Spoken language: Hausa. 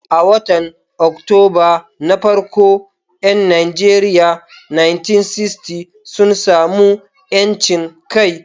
A watan Oktoba na farko 'yan Najeriya 1960 sun sami 'yancin kai.